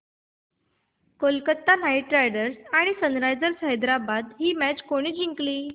Kolkata knight riders आणि sunrisers Hyderabad ही match कोणी जिंकली